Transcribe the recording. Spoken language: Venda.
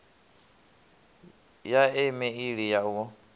ya e meili ya u